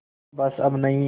बस अब नहीं